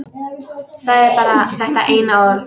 Sagði bara þetta eina orð.